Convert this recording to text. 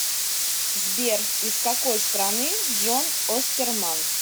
сбер из какой страны джон остерман